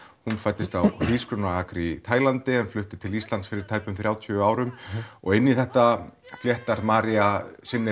hún fæddist á hrísgrjónaakri í Tælandi en flutti til Íslands fyrir tæpum þrjátíu árum og inn í þetta fléttar María sinni